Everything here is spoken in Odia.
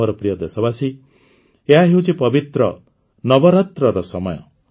ମୋର ପ୍ରିୟ ଦେଶବାସୀ ଏହାହେଉଛି ପବିତ୍ର ନବରାତ୍ରର ସମୟ